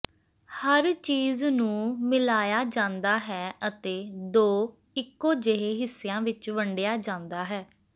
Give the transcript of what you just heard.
ਹਰ ਚੀਜ਼ ਨੂੰ ਮਿਲਾਇਆ ਜਾਂਦਾ ਹੈ ਅਤੇ ਦੋ ਇੱਕੋ ਜਿਹੇ ਹਿੱਸਿਆਂ ਵਿੱਚ ਵੰਡਿਆ ਜਾਂਦਾ ਹੈ